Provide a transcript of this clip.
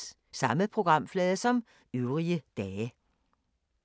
Samme programflade som øvrige dage